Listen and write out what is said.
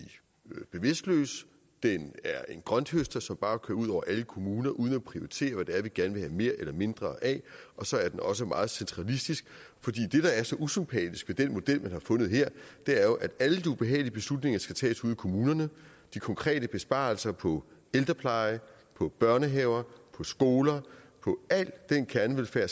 bevidstløs den er en grønthøster som bare kører ud over alle kommuner uden at prioritere hvad det er vi gerne vil have mere eller mindre af og så er den også meget centralistisk det der er så usympatisk ved den model man har fundet her er jo at alle de ubehagelige beslutninger skal tages ude i kommunerne de konkrete besparelser på ældrepleje på børnehaver skoler på al den kernevelfærd